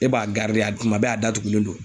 E b'a garide a kuma bɛɛ a datugulen don